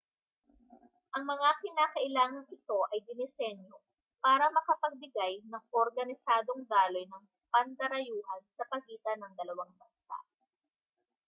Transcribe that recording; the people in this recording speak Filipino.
ang mga kinakailangang ito ay dinisenyo para makapagbigay ng organisadong daloy ng pandarayuhan sa pagitan ng dalawang bansa